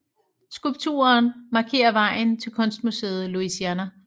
Skulpturen markerer vejen til kunstmuseet Louisiana